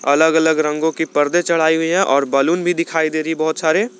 अलग अलग रंगों की पर्दे चढ़ाई हुई है और बैलून भी दिखाई दे रही बहुत सारे।